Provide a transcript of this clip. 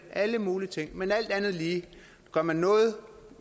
alle mulige ting men alt andet lige gør man noget